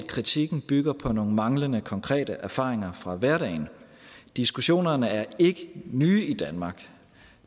kritikken bygger på nogle manglende konkrete erfaringer fra hverdagen diskussionen er ikke ny i danmark